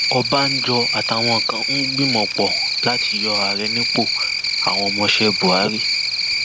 ọbànjọ àtàwọn kan ń gbìmọ pọ láti yọ ààrẹ nípòàwọn ọmọọṣẹ buhari